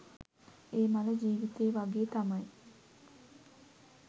ඒ මල ජිවිතේ වගේ තමයි.